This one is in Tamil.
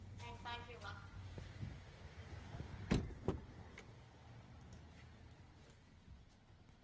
um thank you ma'am